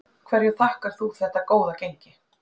Hverju þakkar þú þetta góða gengi?